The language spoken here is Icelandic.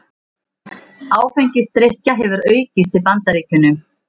Áfengisdrykkja hefur aukist í Bandaríkjunum